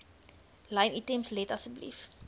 lynitems let asseblief